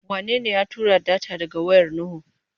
Wanene ya tura data daga wayar Nuhu?